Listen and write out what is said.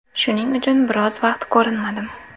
Shuning uchun biroz vaqt ko‘rinmadim.